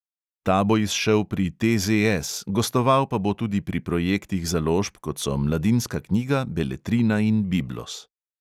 Ta bo izšel pri TZS, gostoval pa bo tudi pri projektih založb, kot so mladinska knjiga, beletrina in biblos.